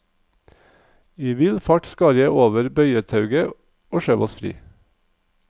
I vill fart skar jeg over bøyetauet og skjøv oss fri.